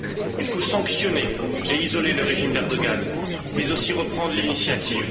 Il faut sanctionner et isoler le régime d'Erdoğan, mais aussi reprendre l'initiative.